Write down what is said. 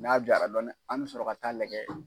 N'a ja la dɔɔni, an bi sɔrɔ ka taa lajɛ.